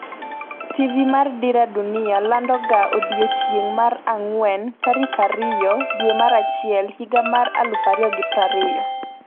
TV mar Dira Dunia lando ga odiochieng' mar ang'wen tarik 02/01/2020